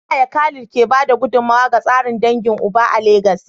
Ta yaya Khalid ke ba da gudummawa ga tsarin dangin uba a Legas?